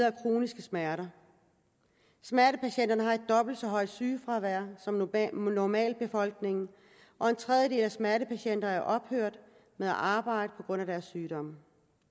af kroniske smerter smertepatienterne har et dobbelt så højt sygefravær som normalbefolkningen og en tredjedel af smertepatienterne er ophørt med at arbejde på grund af deres sygdomme